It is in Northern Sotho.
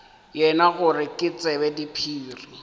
yena gore ke tsebe diphiri